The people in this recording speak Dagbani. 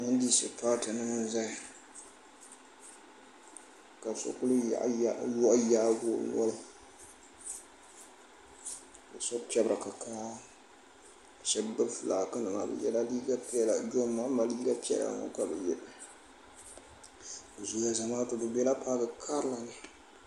NDC paati nima n zaya ka so kuli yaayaagi o noli ka so pepri kikaa sheba gbibi filaaki nima bɛ yela liiga piɛla jonmahama liiga piɛla ŋɔ ka bɛ ye bɛ zooya Zamaatu bɛ bela paaki karilini.